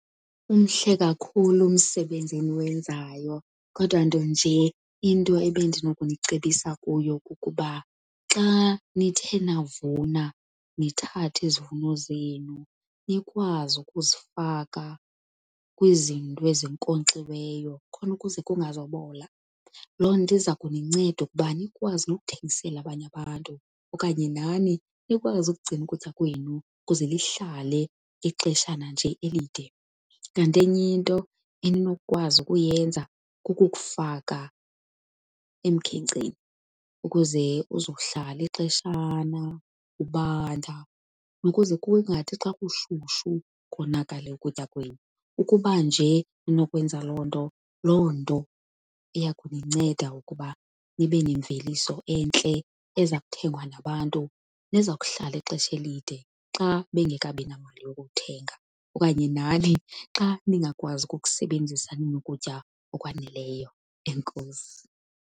Umhle kakhulu umsebenzi eniwenzayo, kodwa nto nje into ebendinokunicebisa kuyo kukuba xa nithe navuna nithathe izivuno zenu nikwazi ukuzifaka kwizinto ezinkonkxiweyo khona ukuze kungazubola. Loo nto iza kuninceda ukuba nikwazi ukuthengisela abanye abantu okanye nani nikwazi ukugcina ukutya kwenu kuze lihlale ixeshana nje elide. Kanti enyinto eninokukwazi ukuyenza kukukufaka emkhenkceni ukuze kuzohlala ixeshana kubanda ukuze kungathi xa kushushu konakale ukutya kwenu. Ukuba nje ninokwenza loo nto, loo nto iya kuninceda ukuba nibe nemveliso entle eza kuthengwa nabantu neza kuhlala ixesha elide xa bengekabinamali yokukuthenga, okanye nani xa ningakwazi ukukusebenzisa nina ukutya okwaneleyo. Enkosi.